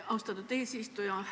Aitäh, austatud eesistuja!